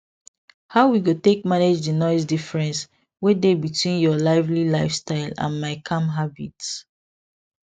how we go take manage di noise difference wey dey between your lively lifestyle and my calm habits